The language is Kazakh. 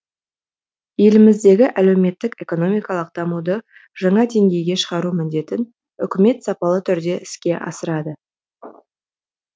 еліміздегі әлеуметтік экономикалық дамуды жаңа деңгейге шығару міндетін үкімет сапалы түрде іске асырады